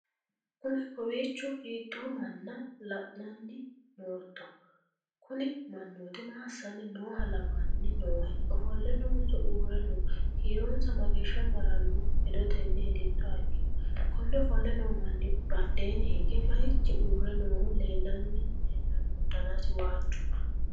kowiicho hiitto manna la'anni nootto? kuni mannooti maa assanni nooha lawanni noohe? ofolle noonso uurre nooho? kiironsa mageeshsha maranno hedotenni hedittoha ikkiro? konne ofolle noo manni badheenni hige marichi uurre noohu leellanno danasi waajju?